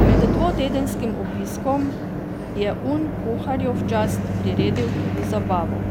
Med dvotedenskim obiskom je Un kuharju v čast priredil tudi zabavo.